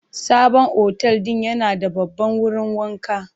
Sabon otel din yana da babban wurin wanka.